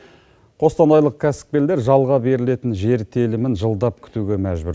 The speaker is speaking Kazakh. қостанайлық кәсіпкерлер жалға берілетін жер телімін жылдап күтуге мәжбүр